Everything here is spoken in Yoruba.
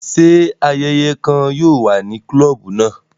Ṣe ayẹyẹ kàn yóò wà ní klobu náà?